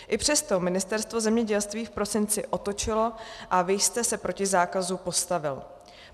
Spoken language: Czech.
I přesto Ministerstvo zemědělství v prosinci otočilo a vy jste se proti zákazu postavil.